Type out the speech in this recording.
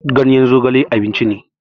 Ganyen zogale abinci ne.